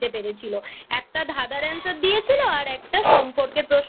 পেরেছিল। একটা ধাঁধার Answer দিয়েছিল আর একটা সম্পর্কের প্রশ্ন